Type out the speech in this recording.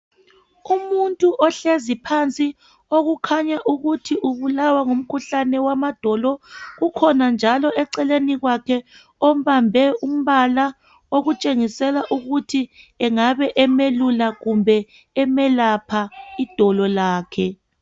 Umuntu ohlezi phansi, okukhanya ukuthi ubulawa ngamadolo. Ukhona njalo eceleni kwakhe ombambe umbala okutshengisela ukuthi engabe emelula kumbe emelapha idolo lakhe.